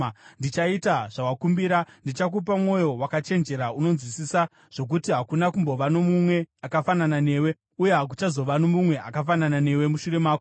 ndichaita zvawakumbira. Ndichakupa mwoyo wakachenjera unonzwisisa, zvokuti hakuna kumbova nomumwe akafanana newe uye hakuchazova nomumwe akafanana newe mushure mako.